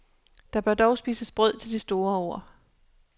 Der bør dog spises brød til de store ord.